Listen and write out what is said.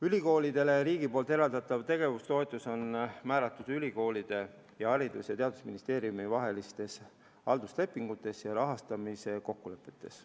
Ülikoolidele riigi poolt eraldatav tegevustoetus on määratud ülikoolide ning Haridus- ja Teadusministeeriumi vahelistes halduslepingutes ja rahastamise kokkulepetes.